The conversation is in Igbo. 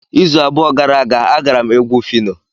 Izu abụọ gara aga, agara m egwu Phyno.